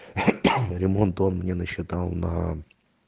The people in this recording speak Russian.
ремонт он мне насчитал на